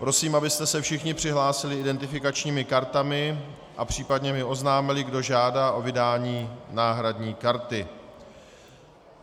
Prosím, abyste se všichni přihlásili identifikačními kartami a případně mi oznámili, kdo žádá o vydání náhradní karty.